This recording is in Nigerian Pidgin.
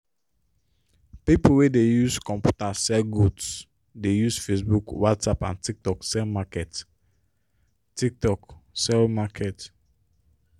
pipo wey dey use computer sell goods dey use facebook whatsapp and tiktok sell market. tiktok sell market.